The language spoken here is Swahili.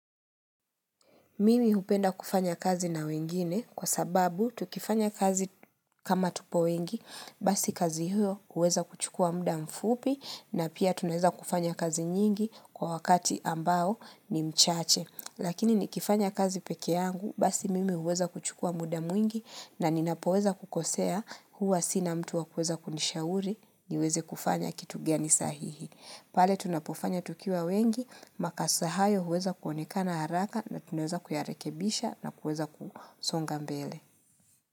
Mimi hupenda kufanya kazi na wengine kwa sababu tukifanya kazi kama tupo wengi basi kazi hiyo huweza kuchukua muda mfupi na pia tunaweza kufanya kazi nyingi kwa wakati ambao ni mchache. Lakini ni kifanya kazi pekee yangu basi mimi huweza kuchukua muda mwingi na ninapoweza kukosea huwa sina mtu wakueza kunishauri niweze kufanya kitu gani sahihi. Pale tunapofanya tukiwa wengi, makasa hayo huweza kuonekana haraka na tuneza kuyarekebisha na kueza kusonga mbele.